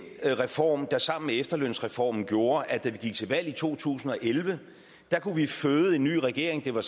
reform der sammen med efterlønsreformen gjorde at da vi gik til valg i to tusind og elleve kunne vi føde en ny regering det var